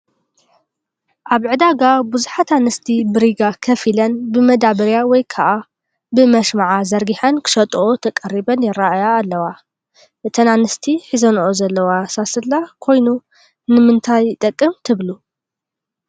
ኣብ ዕዳጋ ቦታ ብዙሓት ኣንስቲ ብሪጋ ከፍ ኢለን ብመዳበርያ ወይ ከዓ ብመሸማዕ ዘርጊሐንን ክሸጥኦ ተቐሪበን ይራኣያ ኣለዋ፡፡ እተን ኣንስቲ ሒዞንኦ ዘለዋ ሳስላ ኮይኑ ንምንታይ ይጠቅም ትብሉ?